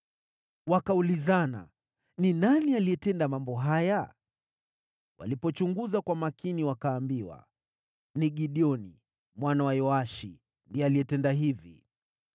Wakaulizana, “Ni nani aliyetenda mambo haya?” Walipochunguza kwa makini, wakaambiwa, “Ni Gideoni mwana wa Yoashi, ndiye alitenda hivi.”